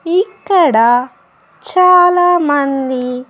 ఇక్కడ చాలా మంది --